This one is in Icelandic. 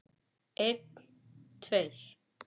Einn tveir.